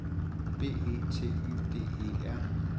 B E T Y D E R